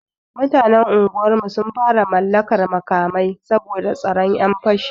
Mutanen unguwarmu sun fara mallakar makamai, saboda tsoron 'yan fashi.